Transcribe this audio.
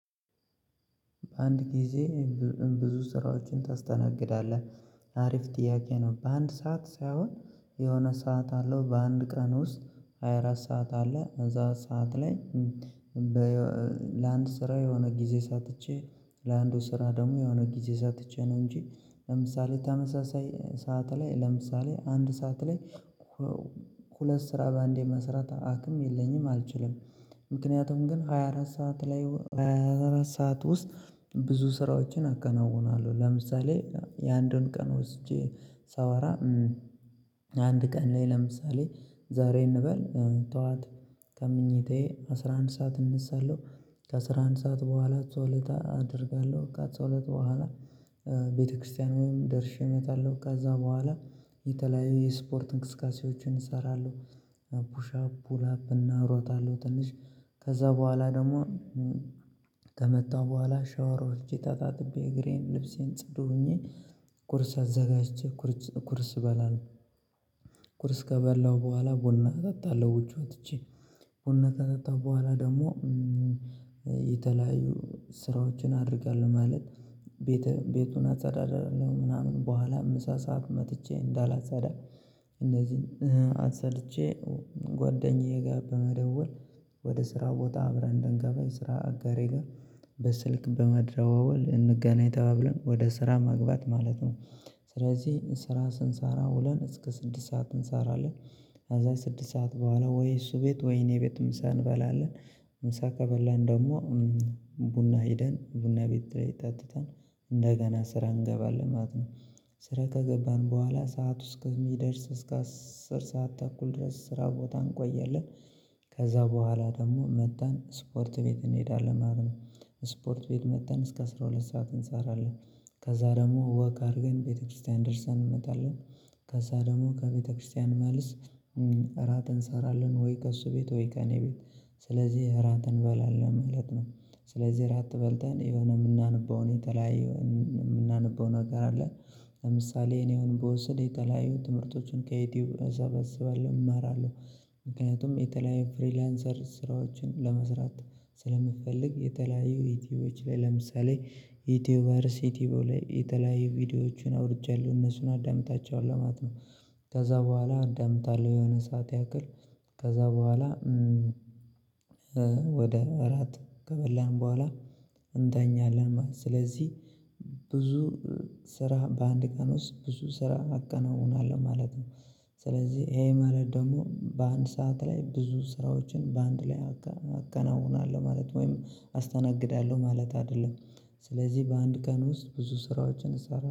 በአንድ ጊዜ ብዙ ስራዎችን ታስተናግዳለህ አሪፍ ጥያቄ ነው። በአንድ ሰዓት ሳይሆን የሆነ ሰዓት አለው በአንድ ቀን ውስጥ ሃያ አራት ሰዓት አለ እዛ ሰዓት ላይ። ለአንድ ስራ የሆነ ጊዜ ሰጥቼ ለአንዱ ስራ ደግሞ የሆነ ጊዜ ሰጥቼ ነው እንጂ ለምሳሌ ተመሳሳይ ሰዓት ላይ ለምሳሌ አንድ ሰዓት ላይ ሁለት ስራ በአንዴ መሰራት አቅም የለኝም አልችልም። ምክንያቱም ግን ሃያ አራት ሰዓት ላይ ሃያ አራት ሰዓት ውስጥ ብዙ ስራዎችን አከናውናለሁ። ለምሳሌ የአንዱን ቀን ወስጄ ሳወራ አንድ ቀን ላይ ለምሳሌ ዛሬ እንበል ጠዋት ከመኝታዬ አስራ አንድ ሰዓት እነሳለሁ። ከአስራ አንድ ሰዓት በኋላ ጸሎት አደርጋለሁ ከፀሎት በኋላ ቤተክርስቲያን ደርሼ እመጣለሁ። ከዛ በኋላ የተለያዩ የስፖርት እንቅስቃሴዎችን እሰራለሁ። ላፕና እሮጣለሁ። ትንሽ ከዛ በኋላ ደግሞ ከመጣሁ በኋላ ሻወር ተታጥቤ እግሬን ልብሴን ጽዱ ሆኜ ቁርስ አዘጋጅቼ ቁርስ በላለው ቁርስ ከበላሁ በኋላ ቡና እጠጣለሁ። ውጪ ወጥቼ ቡና ከጠጣሁ በኋላ ደግሞ የተለያዩ ስራዎችን አደርጋለሁ። ማለት ቤቱን አጻዳለሁ ምናምን በኋላ ምሳ ሰዓት መጥቼ እንዳላጸዳ እነዚህን አጽድቼ ጓደኛዬ ጋር በመደወል ወደ ስራ ቦታ አብረን እንድንገባ ስራ አጋሬ ጋር በስልክ በመደዋወል እንገናኝ ተባብለን ወደ ስራ መግባት ማለት ነው። ስለዚህ ስራ ስንሳራ ውለን እስከ ስድስት ሰዓት እንሰራለን። ከዛ ስድስት ሰዓት በኋላ ወይ እሱ ቤት ወይ እኔ ቤት ምሳ እንበላለን። ምሳ ከበላን ደግሞ ቡና ሄደን ቡና ቤት ጠትተን እንደገና ስራ እንገባለን ማለት ነው። ስራ ከገባን በኋላ ሰዓቱ እስከ ከሚደርስ እስከ አስር ሰዓት ተኩል ድረስ ስራ ቦታ እንቆያለን። ከዛ በኋላ ደግሞ መተን ስፖርት ቤት እንሄዳለን ማለት ነው። ስፖርት ቤት መተን እስከ አስራ ሁለት ሰዓት እንሰራለን። ከዛ ደግሞ ወክ አድርገን ቤተክርስቲያን ደርሰን እንመጣለን። ከዛ ደግሞ ከቤተክርስቲያን መልስ እራት እንሰራለን ወይ ከእርሱ ቤት ወይ ከእኔ ቤት ስለዚህ እራት እንበላለን ማለት ነው። ስለዚህ እራት በልተን የሆነ የምናነበውን የተለያየ የምናነበው ነገር አለ። ለምሳሌ እኔ አሁን ብወስድ የተለያዩ ትምህርቶችን ከዩቲዩብ እሰበስባለሁ እማራለሁ። ምክንያቱም የተለያየ ፍሪላንሰር ስራዎችን ለመስራት ስለምፈልግ የተለያየ ዩቲዩብ ላይ ለምሳሌ ዩቲዩበር ሲቲቦ ላይ የተለያዩ ቪዲዮዎችን አውርጃለሁ እነሱን አዳምጣቸው ማለት ነው። ከዛ በኋላ አዳምጣለሁ የሆነ ሰዓት ያክል ከዛ በኋላ ወደ እራት ከበላን በኋላ እንተኛለን። ማለት ስለዚህ ብዙ ስራ በአንድ ቀን ውስጥ ብዙ ስራ አከናውናለሁ ማለት ነው። ስለዚህ ይሄ ማለት ደግሞ በአንድ ሰዓት ላይ ብዙ ስራዎችን በአንድ ላይ አከናውናለሁ ማለት ወይም አስተናግዳለሁ ማለት አይደለም። ስለዚህ በአንድ ቀን ውስጥ ብዙ ስራዎችን እሰራለሁ